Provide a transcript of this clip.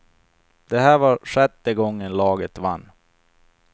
Det här var sjätte gången laget vann.